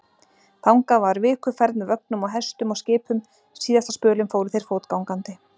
Þangað var vikuferð með vögnum og hestum og skipum, síðasta spölinn fóru þeir fótgangandi.